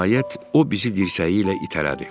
Nəhayət, o bizi dirsəyi ilə itələdi.